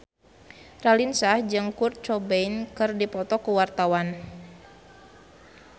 Raline Shah jeung Kurt Cobain keur dipoto ku wartawan